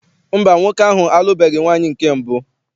Mba, nwoke ahụ alụbeghi nwaanyị nke mbụ.